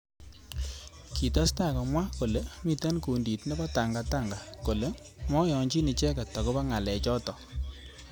Kitestai komwa kole mitei kundit nebo Tanga Tanga kole mayanchin icheket akobo ngalek chotok.